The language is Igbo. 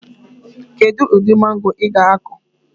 Kedụ ụdị mango ị ga akọ?